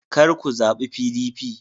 Kar ku zabi PDP.